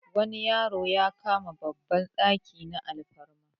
wani yaro ya kama babban daki na alfarma